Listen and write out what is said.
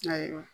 Ayiwa